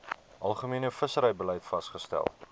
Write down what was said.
algemene visserybeleid vasgestel